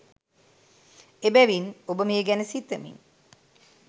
එබැවින්, ඔබ මේ ගැන සිතමින්